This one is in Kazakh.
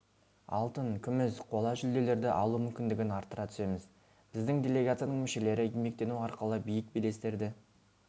алтын күміс қола жүлделерді алу мүмкіндігін арттыра түсеміз біздің делегацияның мүшелері еңбектену арқылы биік белестерді